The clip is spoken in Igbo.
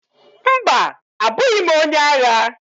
Mba! abụghị m onye agha.